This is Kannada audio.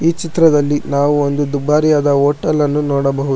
ಈ ಚಿತ್ರದಲ್ಲಿ ನಾವು ಒಂದು ದುಬಾರಿಯಾದ ಹೋಟೆಲ್ ಅನ್ನು ನೋಡಬಹು --